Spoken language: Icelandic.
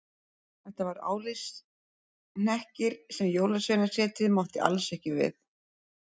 Þetta var álitshnekkir sem Jólasveinasetrið mátti alls ekki við.